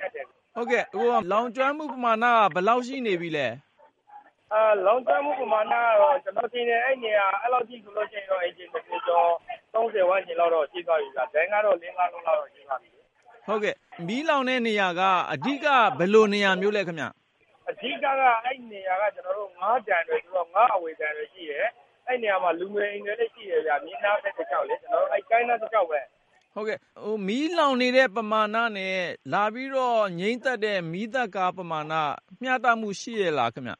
ခက်တယ်။ ဟုတ်ကဲ့ - လောင်ကျွမ်းမှု ပမာဏ ဘယ်လောက်ရှိနေပြီလဲ။ လောင်ကျွမ်းမှု ပမာဏကတော့ ကျနော်ထင်တယ် အဲဒီနားတဝိုက် အိမ်ခြေ ကျော် လောက် ရှိသွားပြီဗျ။ ငါးပုဇွန်ဒိုင်ကတော့ လုံးလောက် ရှိလိမ့်မယ်။ ဟုတ်ကဲ့၊ မီးလောင်နေတဲ့ နေရာက အဓိက ဘယ်လိုနေရာမျိုးလဲ ခင်ဗျ။ အဓိကက အဲဒီနေရာက ငါးကန်တွေဆိုတော့ ငါးအဝယ်ဒိုင်တွေရှိတယ်။ အဲဒီမှာ လူနေအိမ်တွေလဲ ရှိတယ်လေ အဲဒီမြစ်နား ကမ်းနားတလျှောက်မှာ။ ဟုတ်ကဲ့၊ မီးလောင်နေတဲ့ ပမာဏနဲ့ လာငြိမ်းသတ်တဲ့ မီးသတ်ကား ပမာဏက မျှတမှုရှိရဲ့လားခင်ဗျ။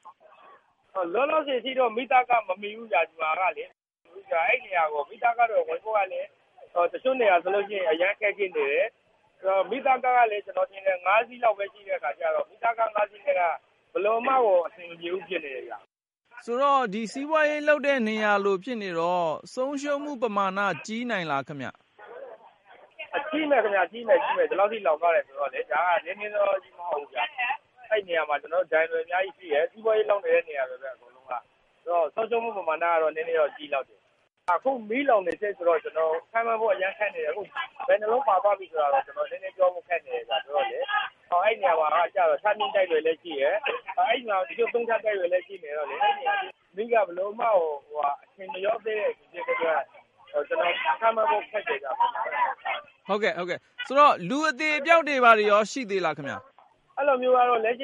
လောလောဆယ်အထိ မီးသတ်ကား မမှီဘူးခင်ဗျ ဒီမှာက။ အဲဒီနေရာကို မီးသတ်ကား ဝင်ဖို့က တချို့နေရာတွေဆို ဝင်ဖို့ အရမ်းခက်ခဲနေတယ်။ မီးသတ်ကားကလည်း ကျနော်ထင်တယ် ၅-စီးလောက်ပဲ ရှိတဲ့အခါကျတော့ ဒီမီးသတ်ကား ၅ စီးနဲ့က ဘယ်လိုမှကို အဆင်မပြေဘူး ဖြစ်နေတယ်။ ဆိုတော့ လောင်တဲ့နေရာက စီးပွားရေး လုပ်တဲ့နေရာလို ဖြစ်နေတော့ ဆုံးရှုံးမှုပမာဏ ကြီးနိုင်လားခင်ဗျ။ ကြီးမယ်ခင်ဗျ.. ကြီးမယ်… ကြီးမယ်။ ဒီလောက်ထိ လောင်သွားတာ ဆိုတော့လေ။ ဒါက နည်းနည်းနောနောကြီး မဟုတ်ဘူးဗျ။ အဲဒီနေရာမှာက ဒိုင်တွေ အများကြီးရှိတယ်။ စီးပွားရေး လုပ်နေတဲ့နေရာတွေပဲ အဲဒီမှာက။ ဆိုတော့ ဆုံးရှုံးမှု ပမာဏက ကြီးလောက်တယ်။ အခုက မီးလောင်နေတုန်းဆိုတော ခန့်မှန်းဖို့ အရမ်းခက်နေတယ်။ ဘယ်နှယ်လုံး ပါသွားပြီလဲဆိုတာ ကျနော်ပြောဖို့ နည်းနည်းခက်နေတယ်။ ပြီးတော့ အဲဒီနေရာမှာက ထပ်မြင့်တိုက်တွေလည်း ရှိတယ်။ ၃ ထပ်တိုက်တွေလဲ ရှိနေတော့လေ မီးက ဘယ်လိုမှ အရှိန်မလျော့သေးတဲ့ ခန့်မှန်းဖို့ ခက်တယ်ဗျ။ ဆိုတော့ လူအသေအပျောက်ရော ရှိသေးလားခင်ဗျ။ အဲလိုမျိုးကတော လက်ရှိအချ